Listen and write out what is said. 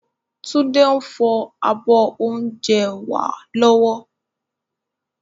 Tunde ń fọ abọ́ oúnjẹ wá lọ́wọ́